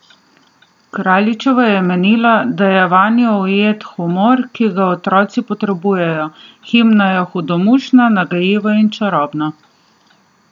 Kraljičeva je menila, da je vanjo ujet humor, ki ga otroci potrebujejo: "Himna je hudomušna, nagajiva in čarobna.